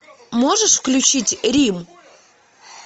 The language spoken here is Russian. можешь включить рим